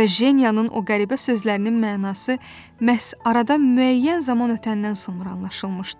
və Jenyanın o qəribə sözlərinin mənası məhz aradan müəyyən zaman ötəndən sonra anlaşılmışdı.